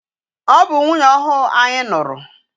Ọ bụ nwunye ọhụụ anyị nụrụ.